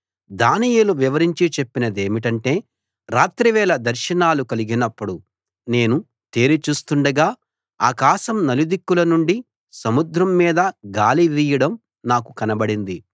దానియేలు వివరించి చెప్పిన దేమిటంటే రాత్రి వేళ దర్శనాలు కలిగి నప్పుడు నేను తేరి చూస్తుండగా ఆకాశం నలుదిక్కుల నుండి సముద్రం మీద గాలి వీయడం నాకు కనబడింది